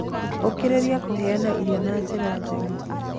Ũkĩrĩrĩria kũheana irio na njĩra njega